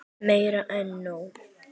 Meira en nóg.